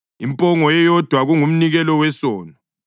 impongo eyodwa kungumnikelo wesono;